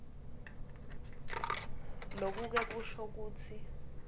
lokuke kusho kutsi